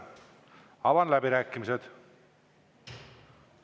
Avan läbirääkimised.